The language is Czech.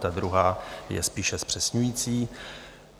Ta druhá je spíše zpřesňující.